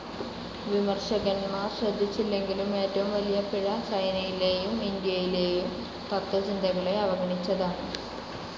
വിമർശകന്മാർ ശ്രദ്ധിച്ചില്ലെങ്കിലും, ഏറ്റവും വലിയ പിഴ ചൈനയിലേയും ഇൻഡ്യയിലേയും തത്ത്വചിന്തകളെ അവഗണിച്ചതാണ്.